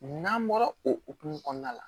N'an bɔra o hokumu kɔnɔna la